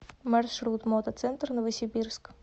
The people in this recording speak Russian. маршрут мотоцентр новосибирск